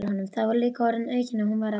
Það var líka orðum aukið að hún væri að tala.